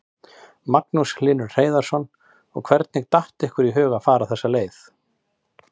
Magnús Hlynur Hreiðarsson: Og hvernig datt ykkur í hug að fara þessa leið?